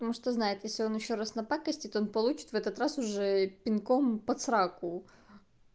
ну что знает если он ещё раз на пакостит он получит в этот раз уже пинком под сраку